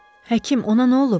Həkim, ona nə olub?